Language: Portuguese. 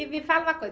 E me fala uma coisa,